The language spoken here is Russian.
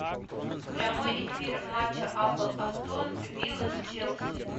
прямой эфир матча апл астон вилла с челси